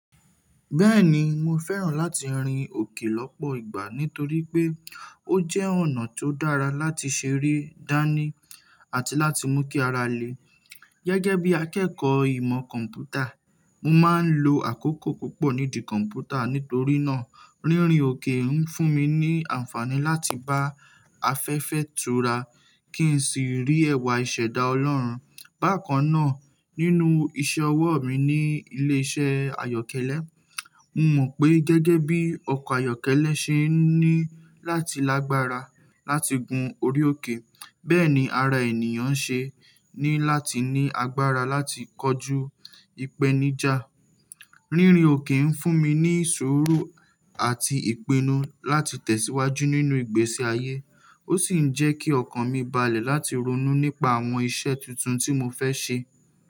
Bẹ́ẹ̀ni, mo fẹ́ràn láti rin òkè lọ́pọ̀ ìgbà nítorí pé ó jẹ́ ọ̀nà tó dára láti ṣeré, dání àti láti mú kí ara le. Gẹ́gẹ́ bí akẹ́kọ̀ọ́ ìmọ̀ kọ̀m̀pútà, mo máa ń lo àkókò púpọ̀ nídi kọ̀m̀pútà, nítorí náà, rírin òkè ń fún mi ní àǹfààní láti bá afẹ́fẹ́ tura kí n sì rí ẹ̀wà ìṣẹ̀dá Ọlọ́run. Bákan náà, nínú iṣẹ́ ọwọ́ mi ní ilé-iṣẹ́ àyọ́kẹ́lẹ́, mo mọ̀ pé gẹ́gẹ́ bí ọkọ̀ ayọ́kẹ́lẹ́ ṣe ní láti lágbára láti gun orí òkè, bẹ́ẹ̀ ni ara ènìyàn ṣe ní láti ní agbára láti kọju ìpèníjà. Rírin òkè ń fún mi ní suuru àti ìpinnu láti tẹ̀síwájú nínú ìgbésí ayé. Ó sì ń jẹ́ kí ọkàn mi balẹ̀ láti ronú nípa àwọn iṣẹ́ tuntun tí mo fẹ́ ṣe.